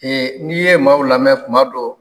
n'i ye maaw lamɛn kuma dɔ